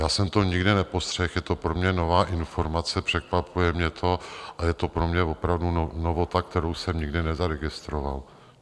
Já jsem to nikdy nepostřehl, je to pro mě nová informace, překvapuje mě to a je to pro mě opravdu novota, kterou jsem nikdy nezaregistroval.